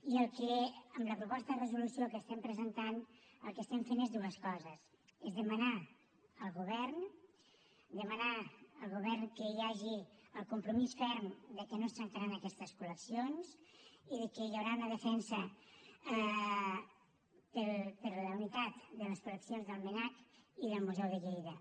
i el que amb la proposta de resolució que presentem estem fent són dues coses és demanar al govern demanar al govern que hi hagi el compromís ferm que no es trencaran aquestes col·leccions i que hi haurà una defensa per la unitat de les col·leccions del mnac i del museu de lleida